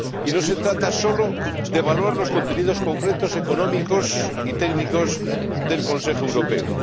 No se trata sólo de valorar los contenidos concretos económicos y técnicos del Consejo Europeo.